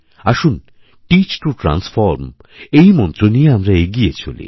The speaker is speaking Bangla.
আসুন টিচটো ট্রান্সফর্ম এই মন্ত্র নিয়ে আমরা এগিয়ে চলি